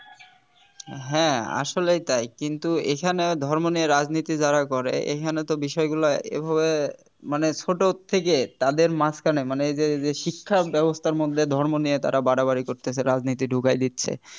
হ্যাঁ আসলেই তাই কিন্তু এখানেও ধর্ম নিয়ে রাজনীতি যারা করে এখানে তো বিষয়গুলো এভাবে মানে ছোট থেকে তাদের মাঝখানে মানে এই যে শিক্ষাব্যবস্থার মধ্যে দিয়ে ধর্ম নিয়ে তারা বাড়াবাড়ি করতাছে রাজনীতি ঢুকায় দিচ্ছে